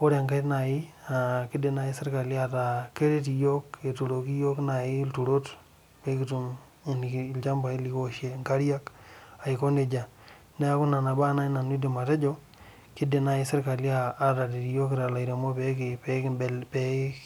ore enkae kidik serkali aaku keturoki yiok ilturot pekitum enkare nikioshir ilturot neaku nona baa nai aidim atejo kidim serkali ataret iyook pee.